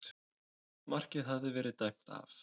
Markið hafði verið dæmt af